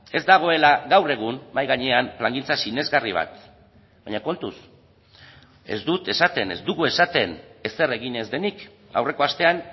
ez dagoela gaur egun mahai gainean plangintza sinesgarri bat baina kontuz ez dut esaten ez dugu esaten ezer egin ez denik aurreko astean